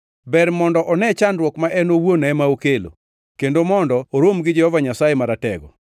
Ber mondo one chandruok ma en owuon ema okelo; kendo mondo orom gi Jehova Nyasaye Maratego.